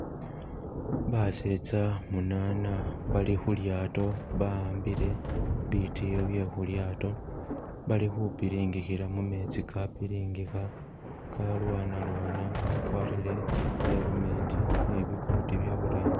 Basetsa munana bali khulyaato bahambile bitiyo bwe khulyato bali khupiringikhila mumetsi ka piringikha galwanalwana bagwarile bi helmet ni bi courti bye orangi.